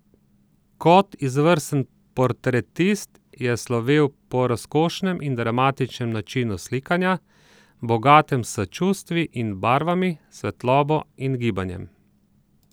Kot izvrsten portretist je slovel po razkošnem in dramatičnem načinu slikanja, bogatem s čustvi in barvami, svetlobo in gibanjem.